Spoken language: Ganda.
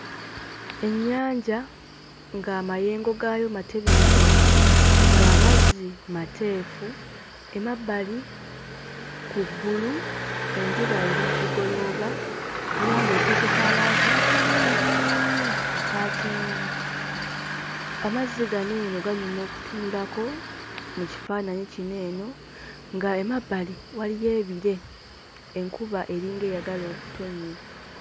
Ennyanja ng'amayengo gaayo matebenkevu, ng'amazzi mateefu; emabbali ku ggulu enjuba eri mu kugolooba era ng'ekoze ka langi akalungi aka kyenvu. Amazzi gano eno ganyuma okutunulako mu kifaananyi kino eno ng'emabbali waliyo ebire, enkuba eringa eyagala okutonnya.